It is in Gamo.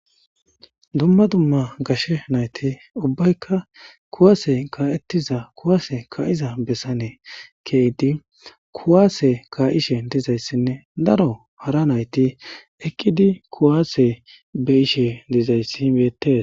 dumma dumma gashe nayti ubbaykka kuwaase kaa7ettiza kuwaase ka7iza bessane keydi kuwaase ka7ishe dizayssinne daro hara nayti eqqidi kuwaase beishe dizayssi weetees